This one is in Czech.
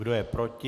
Kdo je proti?